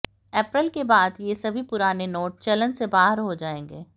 अप्रैल के बाद से ये सभी पुराने नोट चलन से बाहर हो जाएंगे